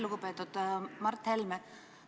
Lugupeetud Mart Helme!